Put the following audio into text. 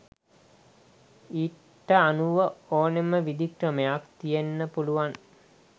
ඊට අනුව ඕනෙම විධික්‍රමයක් තියෙන්න පුළුවන්